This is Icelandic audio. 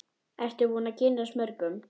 Ertu búin að kynnast mörgum?